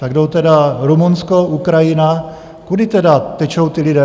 Tak jdou tedy Rumunsko, Ukrajina, kudy tedy tečou ty lidé?